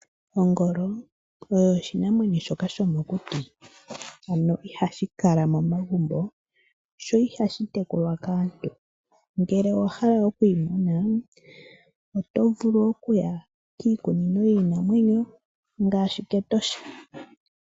Ongolo oyo oshinamwenyo shoka shomokuti. Ano ihashi kala momagumbo sho ihashi tekulwa kaantu. Ngele owa hala oku yi mona oto vulu okuya miikunino yiinamwenyo ngaashi kEtosha.